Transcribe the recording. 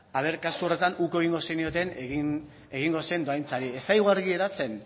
a ver kasu horretan uko egingo zenioten egingo dohaintzari ez zaigu argi geratzen